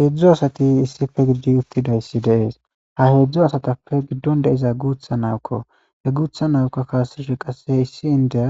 Hezhzhu asati issippe gididi uttidayissa de'ees.ha hezdzdu asatappe gidoni de'izayi guththa na'iyo kko .he guththa na'iyokka kasishshe qase issi indiya